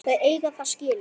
Þið eigið það skilið.